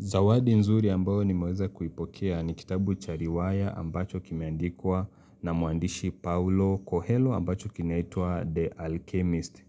Zawadi nzuri ambayo nimeweza kuipokea ni kitabu cha riwaya ambacho kimeandikwa na muandishi Paulo Kohelo ambacho kinaitwa The Alchemist.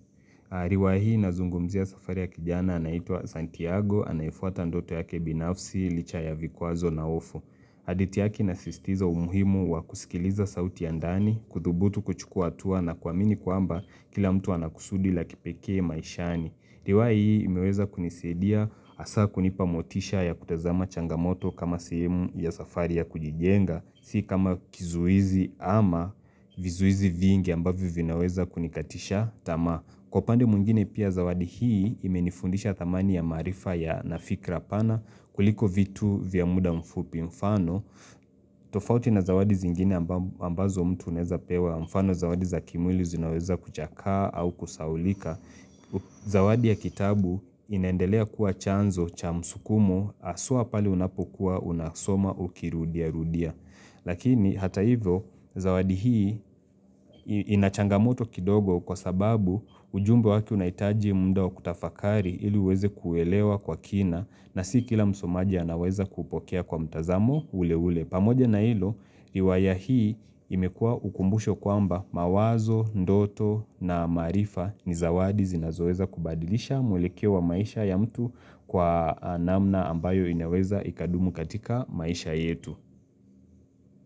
Ariwahi ana zungumzia safari ya kijana anaitwa Santiago, anayefuata ndoto yake binafsi, licha ya vikwazo na hofu. Hadithi yaki inasistiza umuhimu wa kusikiliza sauti ya ndani, kuthubutu kuchukua hatua na kuamini kwamba kila mtu anakusudi la kipekee maishani. Riwaya hii imeweza kunisidia hasa kunipa motisha ya kutazama changamoto kama sehemu ya safari ya kujijenga, si kama kizuizi ama vizuizi vingi ambavyo vinaweza kunikatisha tama. Kwa upande mwngine pia zawadi hii imenifundisha thamani ya maarifa ya na fikra pana kuliko vitu vya muda mfupi mfano. Tofauti na zawadi zingine ambazo mtu unaweza pewa mfano zawadi za kimwili zinaweza kuchakaa au kusahaulika. Zawadi ya kitabu inaendelea kuwa chanzo cha msukumo hasua pale unapokuwa unasoma ukirudiarudia Lakini hata hivyo zawadi hii inachangamoto kidogo kwa sababu ujumbe wake unahitaji muda wa kutafakari ili uweze kuelewa kwa kina na si kila msomaji anaweza kupokea kwa mtazamo ule ule pamoja na hilo, riwaya hii imekua ukumbusho kwamba mawazo, ndoto na maarifa ni zawadi zinazoweza kubadilisha mwelekeo wa maisha ya mtu kwa namna ambayo inaweza ikadumu katika maisha yetu.